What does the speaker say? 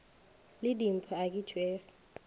le dimpho ka ge tšekhwi